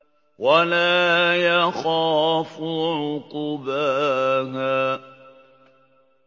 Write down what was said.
وَلَا يَخَافُ عُقْبَاهَا